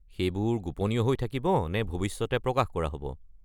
সেইবোৰ গোপনীয় হৈ থাকিব নে ভৱিষ্যতে প্ৰকাশ কৰা হ'ব?